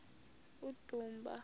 udumba